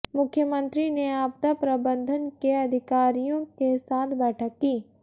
मुख्यमंत्री ने आपदा प्रबंधन के अधिकारियों के साथ बैठक की